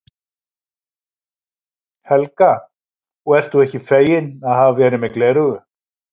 Helga: Og ert þú ekki feginn að hafa verið með gleraugu?